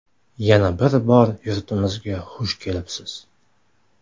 Yana bir bor yurtimizga xush kelibsiz!